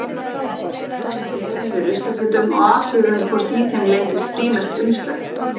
Snerum við ruslafötum og athuguðum hvort í þeim leyndist frímerkt umslag.